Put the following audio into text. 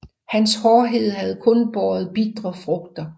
Hans hårdhed havde kun båret bitre frugter